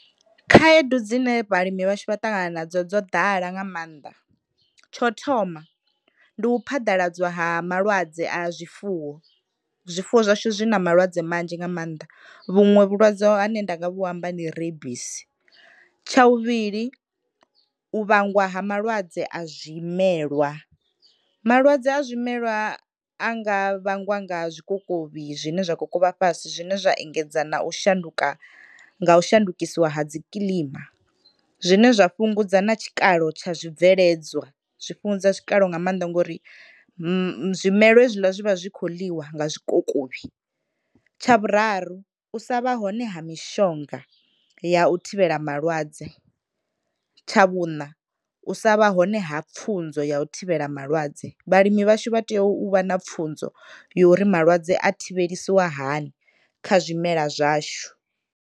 Khaedu dzine vhalimi vhashu vha ṱangana nadzo dzo ḓala nga mannḓa tsho u thoma ndi u phaḓaladzwa ha malwadze a zwifuwo, zwifuwo zwashu zwi na malwadze manzhi nga mannḓa vhuṅwe vhulwadze hane nda nga vhu amba ndi rebisi, tsha vhuvhili u vhangwa ha malwadze a zwimelwa, malwadze a zwimelwa a nga vhangwa nga zwikokovhi zwine zwa kho kokovha fhasi zwine zwa engedza na u shanduka nga u shandukisiwa ha dzi kiḽima zwine zwa fhungudza na tshikalo tsha zwibveledzwa, zwi fhungudza tshikalo nga mannḓa ngori zwimela hezwiḽa zwi vha zwi kho ḽiwa nga zwikokovhi, tsha vhuraru u sa vha hone ha mishonga ya u thivhela malwadze, tsha vhuṋa u sa vha hone ha pfhunzo ya u thivhela malwadze vhalimi vhashu vha tea u vha na pfhunzo yori malwadze a thivhelisiwa hani kha zwimela zwashu.